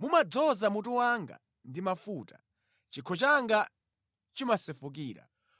Mumadzoza mutu wanga ndi mafuta; chikho changa chimasefukira.